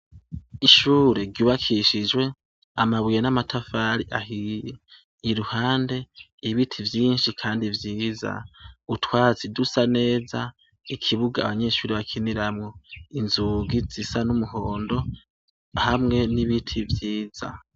Ishure ryubakishije amabuye n'amatafari ahiye. Iruhande ibiti vyinshi kandi vyiza, utwatsi dusa neza ikibuga Abanyeshure bakiniramwo inzugi zisa n'umuhondo hamwe n'ibiti vyiza.